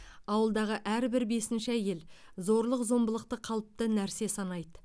ауылдағы әрбір бесінші әйел зорлық зомбылықты қалыпты нәрсе санайды